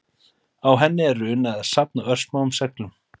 Á henni er runa eða safn af örsmáum seglum.